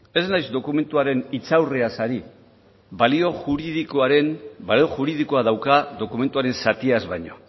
ez naiz dokumentuaren hitzaurreaz ari balio juridikoa daukan dokumentuaren zatiaz baino